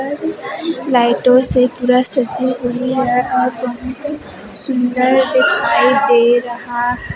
लाइटों से पूरा सजी हुई है और बहुत सुंदर दिखाई दे रहा है।